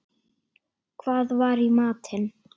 Hvað var í matinn?